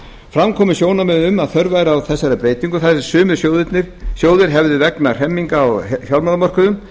fram komu sjónarmið um að þörf væri á þessari breytingu þar sem sumir sjóðir hefðu vegna hremminga á fjármálamörkuðum